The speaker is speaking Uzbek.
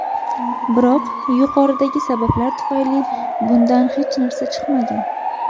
Biroq yuqoridagi sabablar tufayli bundan hech narsa chiqmagan.